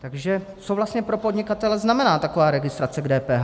Takže co vlastně pro podnikatele znamená taková registrace k DPH.